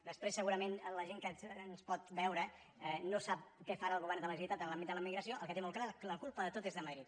després segurament la gent que ens pot veure no sap què farà el govern de la generalitat en l’àmbit de la immigració el que té molt clar és que la culpa de tot és de madrid